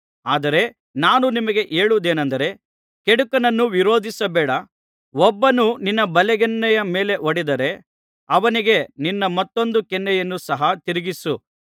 ಆದರೆ ನಾನು ನಿಮಗೆ ಹೇಳುವುದೇನಂದರೆ ಕೆಡುಕನನ್ನು ವಿರೋಧಿಸಬೇಡ ಒಬ್ಬನು ನಿನ್ನ ಬಲಗೆನ್ನೆಯ ಮೇಲೆ ಹೊಡೆದರೆ ಅವನಿಗೆ ನಿನ್ನ ಮತ್ತೊಂದು ಕೆನ್ನೆಯನ್ನು ಸಹ ತಿರುಗಿಸು